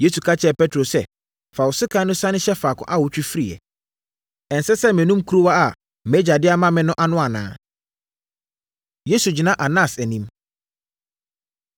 Yesu ka kyerɛɛ Petro sɛ, “Fa wo sekan no sane hyɛ faako a wotwe firiiɛ. Ɛnsɛ sɛ menom kuruwa a mʼAgya de ama me no ano anaa?” Yesu Gyina Anas Anim